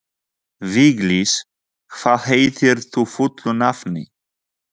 Viglís, hvað heitir þú fullu nafni?